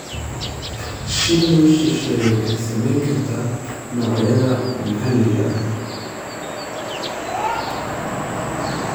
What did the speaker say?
Shinni shisheeye waxay saameyn kartaa noocyada maxalliga ah.